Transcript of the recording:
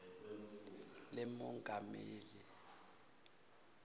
lemongameli